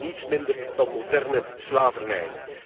Het is niets minder dan moderne slavernij!